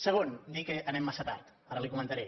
segon dir que anem massa tard ara li ho comentaré